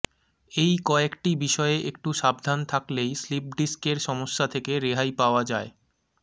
এই কয়েকটি বিষয়ে একটু সাবধান থাকলেই স্লিপ ডিস্কের সমস্যা থেকে রেহাই পাওয়া যায়